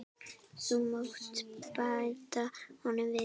Þú mátt bæta honum við.